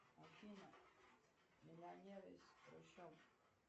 афина миллионер из трущоб